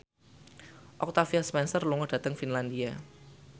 Octavia Spencer lunga dhateng Finlandia